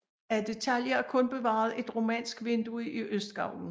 Af detaljer er kun bevaret et romansk vindue i østgavlen